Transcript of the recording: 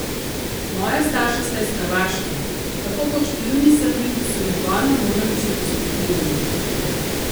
Moja starša sta iz Hrvaške, tako kot številni Srbi, ki so med vojno morali zapustiti dom.